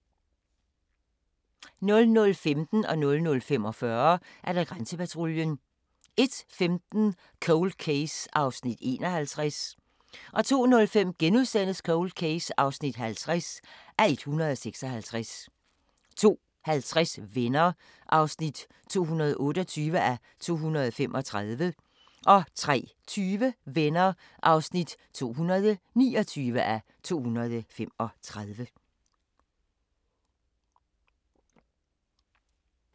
00:15: Grænsepatruljen 00:45: Grænsepatruljen 01:15: Cold Case (51:156) 02:05: Cold Case (50:156)* 02:50: Venner (228:235) 03:20: Venner (229:235)